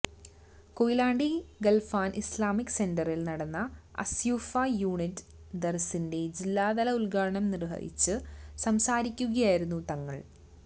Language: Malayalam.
കൊയിലാണ്ടി ഖൽഫാൻ ഇസ്ലാമിക് സെന്ററിൽ നടന്ന അസ്സ്വുഫ്ഫ യൂനിറ്റ് ദർസിന്റെ ജില്ലാതല ഉദ്ഘാടനം നിർവഹിച്ച് സംസാരിക്കുകയായിരുന്നു തങ്ങൾ